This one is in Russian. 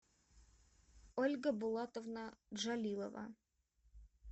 ольга булатовна джалилова